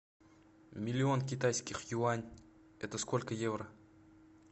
миллион китайских юань это сколько евро